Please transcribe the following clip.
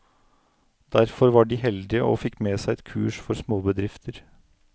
Derfor var de heldige og fikk med seg et kurs for småbedrifter.